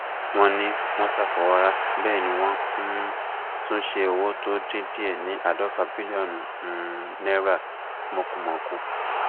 wọn ní wọn ṣàfọwọrá bẹẹ ni wọn um tún ṣe owó tó dín díẹ ní àádọfà bílíọnù um náírà mọkùmọkù